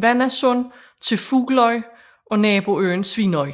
Hvannasund til Fugloy og naboøen Svínoy